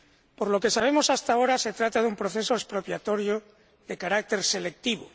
Por lo que sabemos hasta ahora, se trata de un proceso expropiatorio de carácter selectivo.